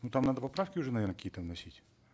ну там надо поправки уже наверно какие то вносить